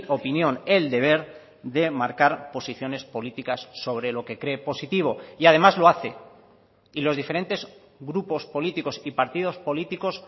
opinión el deber de marcar posiciones políticas sobre lo que cree positivo y además lo hace y los diferentes grupos políticos y partidos políticos